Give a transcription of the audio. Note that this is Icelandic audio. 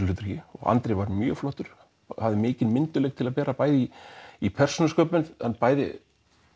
hlutverki andrey var mjög flottur hafði mikinn myndugleik til að bera bæði í í persónusköpun hann bæði